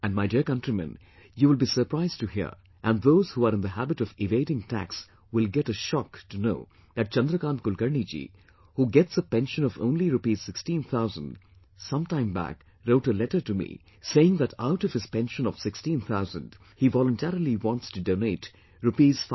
And my dear countrymen, you will be surprised to hear, and those who are in the habit of evading tax will get a shock to know that Chandrakant Kulkarni Ji, who gets a pension of only rupees sixteen thousand, some time back wrote a letter to me saying that out of his pension of 16,000, he voluntarily wants to donate Rs